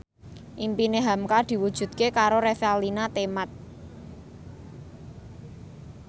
impine hamka diwujudke karo Revalina Temat